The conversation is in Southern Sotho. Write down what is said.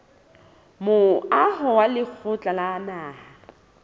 moaho wa lekgotla la naha